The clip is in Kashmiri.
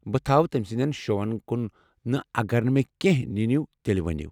بہٕ تھوٕ تمہِ سندین شوہن كُن نہٕ اگرنہٕ مے٘ كینہہ ننِیوٚ تیلہِ ؤنیو۔